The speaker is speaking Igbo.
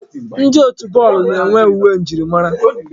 Ndi otu bọọlụ na-enwe uwe njirimara.